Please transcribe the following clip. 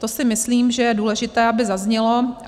To si myslím, že je důležité, aby zaznělo.